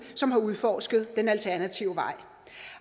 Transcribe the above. som har udforsket den alternative vej